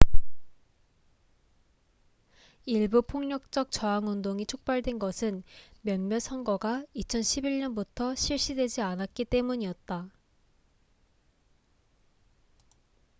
일부 폭력적 저항운동이 촉발된 것은 몇몇 선거가 2011년부터 실시되지 않았기 때문이었다